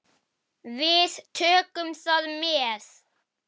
Við tökum það með.